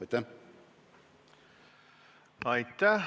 Aitäh!